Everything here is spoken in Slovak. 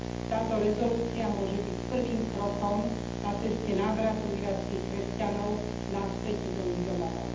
Táto rezolúcia môže byť prvým krokom na ceste návratu irackých kresťanov naspäť do ich domovov.